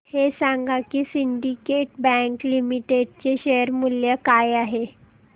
हे सांगा की सिंडीकेट बँक लिमिटेड चे शेअर मूल्य काय आहे